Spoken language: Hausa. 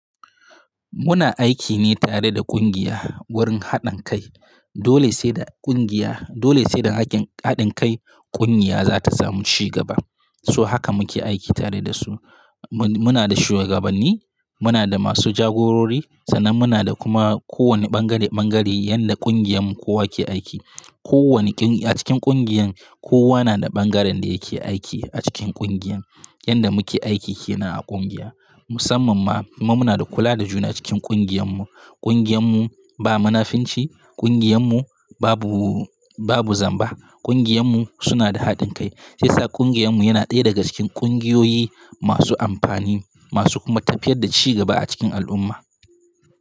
Muna aiki ne tare da ƙungiya wurin haɗin kai. Dole sai da ƙungiya, dole sai da haƙin haɗin kai ƙungiya za ta samu ci gaba. So haka muke aiki tare da su. Mun muna da shuwagabanni, muna da masu jagorori, sannan muna da kuma kowane ɓangare-ɓangare yadda ƙungiyar mu kowa ke aiki. Ko wani ƙin a cikin ƙungiyar, kowa na da ɓangaren da yake aiki a cikin ƙungiyan. Yadda muke aiki ke nan a ƙungiya. Musamman ma, kuma muna da kula da juna cikin ƙungiyar mu. Ƙungiyar mu ba munafinci, ƙungiyar mu babu, babu zamba. Ƙungiyar mu suna da haɗin kai. Shi yasa ƙungiyar mu yana ɗaya daga cikin ƙungiyoyi masu amfani, masu kuma tafiyar da ci gaba a cikin al'umma.